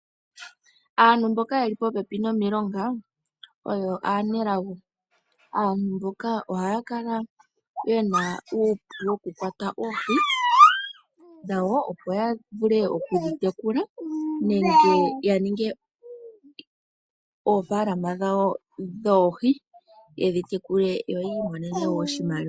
Aantu mboka yeli popepi nomiilonga oyo aanelago. Aantu mboka ohaya kala yena uupu woku kwata oohi dhawo opo ya vule okudhi tekula nenge ya ninge oofalama dhawo dhoohi yedhi tekule yo yi imonene wo oshimaliwa.